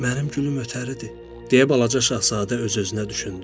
Mənim gülüm ötəridir, deyə balaca Şahzadə öz-özünə düşündü.